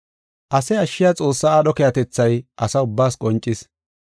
Ase ashshiya Xoossa aadho keehatethay asa ubbaas qoncis.